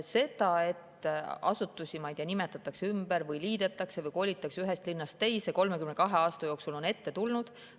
Seda, et asutusi, ma ei tea, nimetatakse ümber või liidetakse või kolitakse ühest linnast teise, on 32 aasta jooksul ette tulnud.